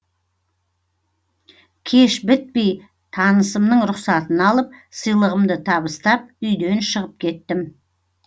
кеш бітпей танысымның рұқсатын алып сыйлығымды табыстап үйден шығып кеттім